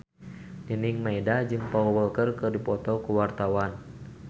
Nining Meida jeung Paul Walker keur dipoto ku wartawan